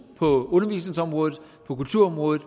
på undervisningsområdet på kulturområdet